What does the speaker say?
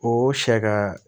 O sɛ ka